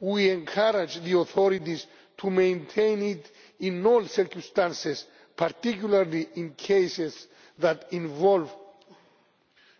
We encourage the authorities to maintain it in all circumstances, particularly in cases that involve